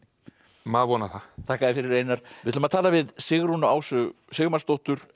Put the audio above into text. maður vonar það þakka þér fyrir Einar við ætlum að tala við Sigrúnu Ásu Sigmarsdóttur